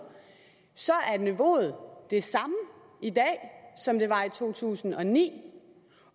er niveauet det samme i dag som det var i to tusind og ni